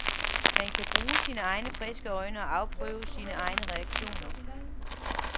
Man kan bruge sine egne friske øjne og afprøve sine egne reaktioner.